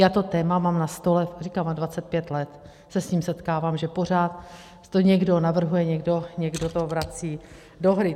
Já to téma mám na stole, říkám, a 25 let se s tím setkávám, že pořád to někdo navrhuje, někdo to vrací do hry.